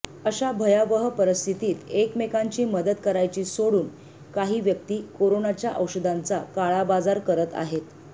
अशा भयावह परिस्थितीत एकमेकांची मदत करायची सोडून काही व्यक्ती करोनाच्या औषधांचा काळाबाजार करत आहेत